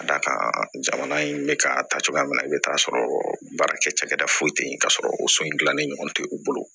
Ka d'a kan jamana in bɛ ka ta cogoya min na i bɛ taa sɔrɔ baarakɛ cakɛda foyi tɛ yen k'a sɔrɔ o so in dilannen ɲɔgɔn tɛ u bolo